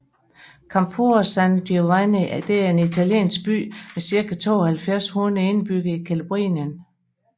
Campora San Giovanni er en italiensk by med cirka 7200 indbyggere i Calabrien